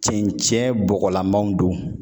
Cɛncɛn bɔgɔlamaw don.